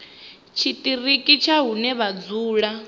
tshiṱiriki tsha hune vha dzula